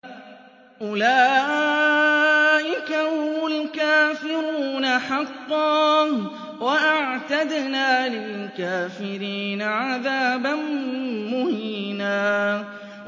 أُولَٰئِكَ هُمُ الْكَافِرُونَ حَقًّا ۚ وَأَعْتَدْنَا لِلْكَافِرِينَ عَذَابًا مُّهِينًا